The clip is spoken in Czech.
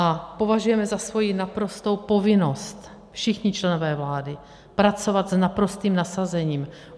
A považujeme za svoji naprostou povinnost, všichni členové vlády, pracovat s naprostým nasazením.